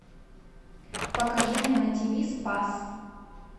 покажи мне на тиви спас